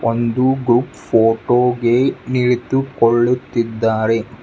ಒಂದು group photo ಗೆ ನಿಂತು ಕೊಳ್ಳುತ್ತಿದ್ದಾರೆ.